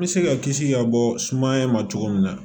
N bɛ se ka kisi ka bɔ sumaya ma cogo min na